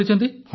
ଆଜ୍ଞା ସାର୍